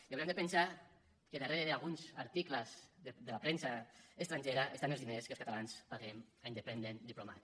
i haurem de pensar que darrere d’alguns articles de la premsa estrangera hi han els diners que els catalans paguem a independent diplomat